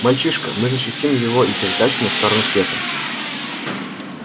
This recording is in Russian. мальчишка мы защитим его и перетащим на сторону света